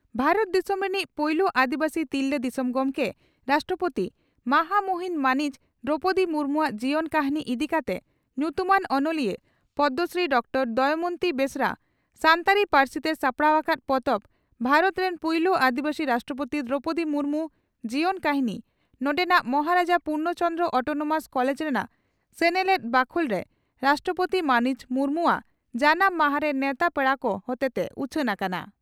ᱵᱷᱟᱨᱚᱛ ᱫᱤᱥᱚᱢ ᱨᱤᱱᱤᱡ ᱯᱩᱭᱞᱩ ᱟᱹᱫᱤᱵᱟᱹᱥᱤ ᱛᱤᱨᱞᱟᱹ ᱫᱤᱥᱚᱢ ᱜᱚᱢᱠᱮ (ᱨᱟᱥᱴᱨᱚᱯᱳᱛᱤ) ᱢᱟᱦᱟᱢᱩᱦᱤᱱ ᱢᱟᱹᱱᱤᱡ ᱫᱨᱚᱣᱯᱚᱫᱤ ᱢᱩᱨᱢᱩᱣᱟᱜ ᱡᱤᱭᱚᱱ ᱠᱟᱹᱦᱱᱤ ᱤᱫᱤ ᱠᱟᱛᱮ ᱧᱩᱛᱩᱢᱟᱱ ᱚᱱᱚᱞᱤᱭᱟᱹ ᱯᱚᱫᱽᱢᱚᱥᱨᱤ ᱰᱨᱹ ᱫᱚᱢᱚᱭᱚᱱᱛᱤ ᱵᱮᱥᱨᱟ ᱥᱟᱱᱛᱟᱲᱤ ᱯᱟᱹᱨᱥᱤᱛᱮ ᱥᱟᱯᱲᱟᱣ ᱟᱠᱟᱫ ᱯᱚᱛᱚᱵ "ᱵᱷᱟᱨᱚᱛ ᱨᱮᱱ ᱯᱩᱭᱞᱩ ᱟᱹᱫᱤᱵᱟᱹᱥᱤ ᱨᱟᱥᱴᱨᱚᱯᱳᱛᱤ ᱫᱨᱚᱣᱯᱚᱫᱤ ᱢᱩᱨᱢᱩ (ᱡᱤᱭᱚᱱ ᱠᱟᱹᱦᱱᱤ) ᱱᱚᱰᱮᱱᱟᱜ ᱢᱚᱦᱟᱨᱟᱡᱟ ᱯᱩᱨᱱᱚ ᱪᱚᱱᱫᱽᱨᱚ (ᱚᱴᱚᱱᱚᱢᱟᱥ) ᱠᱚᱞᱮᱡᱽ ᱨᱮᱱᱟᱜ ᱥᱮᱱᱮᱞᱮᱫ ᱵᱟᱹᱠᱷᱩᱞᱨᱮ ᱨᱟᱥᱴᱨᱚᱯᱳᱛᱤ ᱢᱟᱹᱱᱤᱡ ᱢᱩᱨᱢᱩᱣᱟᱜ ᱡᱟᱱᱟᱢ ᱢᱟᱦᱟᱨᱮ ᱱᱮᱣᱛᱟ ᱯᱮᱲᱟ ᱠᱚ ᱦᱚᱛᱮᱛᱮ ᱩᱪᱷᱟᱹᱱ ᱟᱠᱟᱱᱟ ᱾